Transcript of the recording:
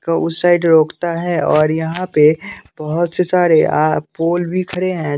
का उस साइड रोकता है और यहाँ पे बहुत से सारे पोल भी खड़े हैं।